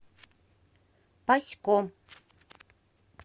пасько